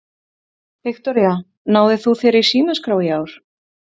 Viktoría: Náðir þú þér í símaskrá í ár?